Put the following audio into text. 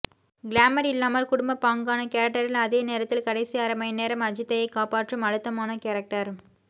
glamour இல்லாமல் குடும்பபாங்கான கேரக்டரில் அதே நேரத்தில் கடைசி அரை மணி நேரம் அஜித்தையே காப்பாற்றும் அழுத்தமான கேரக்டர்